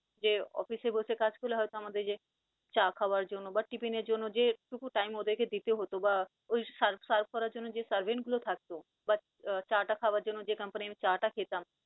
যে office এ বসে কাজ করলে হয়তো আমাদের যে চা খাওয়ার জন্য বা tiffin এর জন্য যে টুকু time ওদেরকে দিতে হতো বা serve serve করার জন্য যে servant গুলো থাকতো but চা টা খাওয়ার জন্য যে company চা টা খেতাম